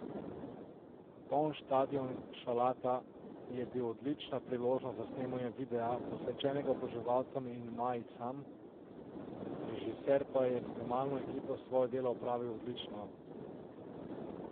Poln stadion Šalata je bila odlična priložnost za snemanje videa, posvečenega oboževalcem in majicam, režiser pa je s snemalno ekipo svoje delo opravil odlično.